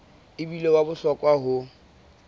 e bile wa bohlokwa ho